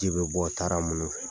Ji bɛ bɔ taara munu fɛ